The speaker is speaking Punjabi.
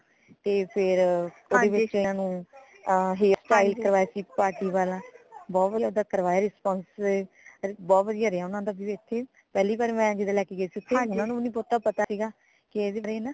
ਤੇ ਫੇਰ ਓਦੇ ਵਿਚ ਏਨਾ ਨੂ ਆਹ hairstyle ਕਰਵਾਇਆ ਸੀਗਾ party ਵਾਲਾ ਬਹੁਤ ਵਧੀਆ ਕਰਵਾਇਆ response ਬਹੁਤ ਵਧੀਆ ਰਿਆ ਓਨਾ ਦਾ ਜਿਵੇ ਸੀ ਪਹਿਲੀ ਵਾਰੀ ਮੈਂ ਜਿਦਾ ਲੈਕੇ ਗਈ ਸੀ ਓਥੇ ਓਨਾ ਨੂ ਵੀ ਨੀ ਪਤਾ ਸੀਗਾ ਕਿ ਇਹ ਵੀ ਟ੍ਰੇਨ ਹਾ